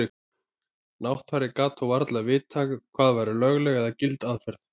Náttfari gat þó varla vitað hvað væri lögleg eða gild aðferð.